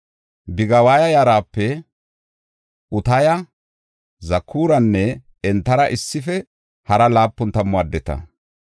Bigiwaya yarape Utaya, Zakuranne entara issife hara laapun tammu addeta.